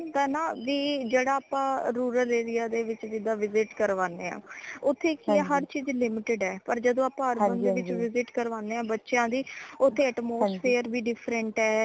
ਹੋਂਦ ਨਾ ਕੀ ਜੇੜਾ ਆਪਾ rural area ਦੇ ਵਿਚ ਜਿਦਾ visit ਕਰਵਾਨੇ ਹਾਂ ਓਥੇ ਕਿ ਹੈ ਹਰ ਚੀਜ਼ limited ਹੈ ਪਰ ਜਦੋ ਆਪਾ urban ਦੇ ਵਿਚ visit ਕਰਵਾਨੇ ਬੱਚਿਆਂ ਦੀਓਥੇ atmosphere ਵੀ different ਹੈ